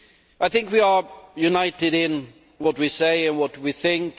I think we are united in what we say and what we think.